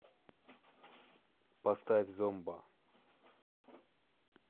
поставь зомба